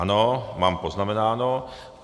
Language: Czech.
Ano, mám poznamenáno.